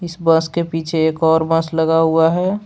इस बस के पीछे एक और बस लगा हुआ है।